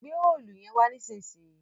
gbé Òòlù yén wà nísìsiyìí!